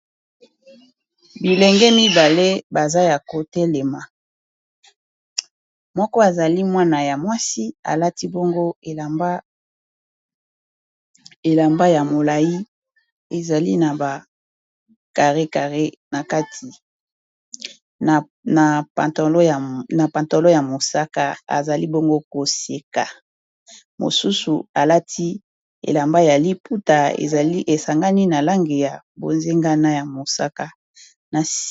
bilenge mibale baza ya kotelema moko azali mwana ya mwasi alati bongo elamba ya molai ezali na ba carré carré na kati na pantolo ya mosaka ezali bongo koseka mosusu alati elamba ya liputa ezali esangani na lange ya bozengana ya mosaka na sii